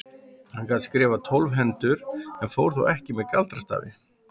Hann gat skrifað tólf hendur og fór þó ekki með galdrastafi.